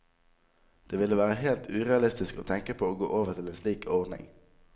Det ville være helt urealistisk å tenke på å gå over til en slik ordning.